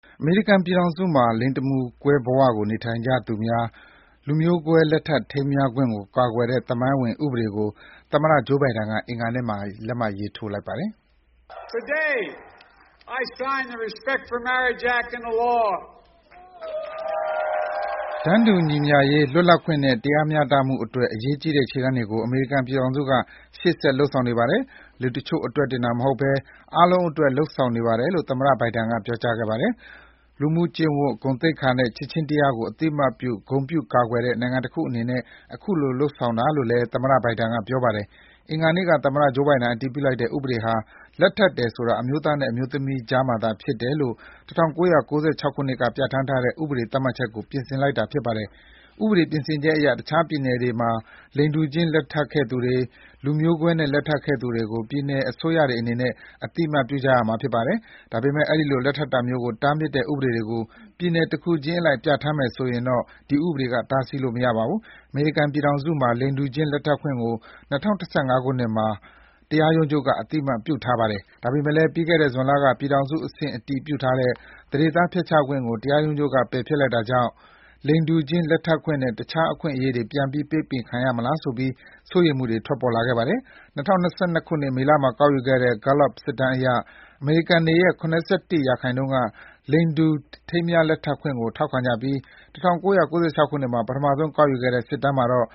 အမေရိကန်ပြည်ထောင်စုမှာ လိင်တမူကွဲဘဝကို နေထိုင်ကြသူများ၊ လူမျိုးကွဲ လက်ထပ်ထိမ်းမြားခွင့်ကိုကာကွယ်တဲ့သမိုင်းဝင်ဥပဒေကို သမ္မတ Joe Biden အင်္ဂါနေ့က လက်မှတ်ရေးထိုးလိုက်ပါတယ်။ “တန်းတူညီမျှရေး လွတ်လပ်ခွင့်နဲ့တရားမျှတမှုအတွက် အရေးကြီးတဲ့ခြေလှမ်းတွေကို အမေရိကန်ပြည်ထောင်စုက ရှေ့ဆက် လုပ်ဆောင်နေပါတယ်။ လူတချို့အတွက်တင်မဟုတ်ဘဲ အားလုံးအတွက် လုပ်ဆောင်နေပါတယ်”လို့ သမ္မတဘိုင်ဒန်ပြောခဲ့ပါတယ်။ လူမှုကျင့်ဝတ်၊ ဂုဏ်သိက္ခာနဲ့ ချစ်ခြင်းတရားကို အသိအမှတ်ပြု ဂုဏ်ပြုကာကွယ်တဲ့ နိုင်ငံတခုအနေနဲ့ အခုလို လုပ်ဆောင်တာလို့လည်း သမ္မတဘိုင်ဒန်ပြောပါတယ်။ အင်္ဂါနေ့က သမ္မတ Joe Bdien အတည်ပြုလိုက်တဲ့ဥပဒေဟာ လက်ထပ်တယ်ဆိုတာ အမျိုးသားနဲ့ အမျိုးသမီးကြားမှာသာဖြစ်တယ်လို့ ၁၉၉၆ ခုနှစ်က ပြဌာန်းထားတဲ့ ဥပဒေသတ်မှတ်ချက်ကို ပြင်ဆင်လိုက်တာ ဖြစ်ပါတယ်။ ဥပဒေပြင်ဆင်ချက်အရ တခြားပြည်နယ်တွေမှာ လိင်တူချင်းလက်ထပ်ခဲ့သူတွေ၊ လူမျိုးကွဲနဲ့လက်ထပ်ခဲ့သူတွေကို ပြည်နယ်အစိုးရတွေအနေနဲ့ အသိအမှတ်ပြုရမှာဖြစ်ပါတယ်။ ဒါပေမဲ့ ဒီလိုလက်ထပ်တာမျိုးကိုတားမြစ်တဲ့ ဥပဒေတွေကို ပြည်နယ်တခုချင်းအလိုက် ပြဌာန်းမယ်ဆိုရင်တော့ တားဆီးလို့ မရပါဘူး။ အမေရိကန်ပြည်ထောင်စုမှာ လိင်တူချင်းလက်ထပ်ခွင့်ကို ၂၀၁၅ ခုနှစ်မှာ အမေရိကန် တရားရုံးချုပ်က အသိအမှတ်ပြုထားပါတယ်။ ဒါပေမဲ့လည်း ပြီးခဲ့တဲ့ ဇွန်လက ပြည်ထောင်စုအဆင့် အတည်ပြုထားတဲ့ သန္ဓေသားဖျက်ချခွင့်ကို တရားရုံးချုပ်က ပယ်ဖျက်လိုက်တာကြောင့် လိင်တူခြင်းလက်ထပ်ခွင့်နဲ့ တခြားအခွင့်အရေးတွေ ပြန်ပြီး ပိတ်ပင်ခံရမလားဆိုပြီး စိုးရိမ်မှုတွေ ထွက်ပေါ်ခဲ့တာပါ။ ၂၀၂၂ မေလ မှာကောက်ယူခဲ့တဲ့ Gallup စစ်တမ်းအရ အမေရိကန်တွေရဲ့ ၇၁% က လိင်တူထိမ်းမြားလက်ထပ်ခွင့်ကို ထောက်ခံကြပြီး ၁၉၉၆ ခုနှစ်မှာ ပထမဆုံးကောက်ယူခဲ့တဲ့ စစ်တမ်းမှာတော့